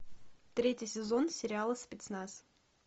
третий сезон сериала спецназ